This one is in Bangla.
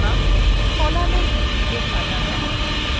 কলামএর ভিত্তিতে সাজানো